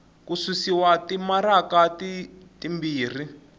ku susiwa timaraka ti timbirhi